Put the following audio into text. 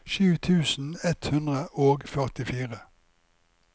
sju tusen ett hundre og førtifire